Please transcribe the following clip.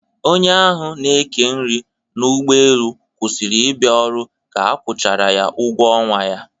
Onye ahụ n'eke nri n'ụgbọelu kwụsịrị ịbịa ọrụ ka a kwụchara ya ụgwọ ọnwa ya.